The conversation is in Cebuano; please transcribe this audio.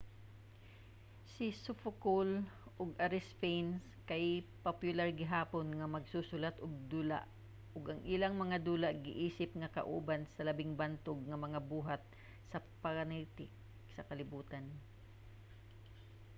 si sophocle ug aristophanes kay popular gihapon nga magsusulat-ug-dula ug ang ilang mga dula giisip nga kauban sa labing bantog nga mga buhat sa panitik sa kalibutan